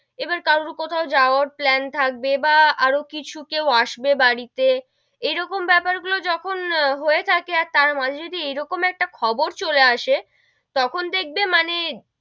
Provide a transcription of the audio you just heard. এবার কারু কোথাও যাওয়ার plan থাকবে বা আরও কিছু কেউ আসবে বাড়ি তে, এরকম বেপার গুলো যখন হয়ে থাকে আর তার মাঝে যদি এরকম একটা খবর চলে আসে, তখন দেখবে মানে,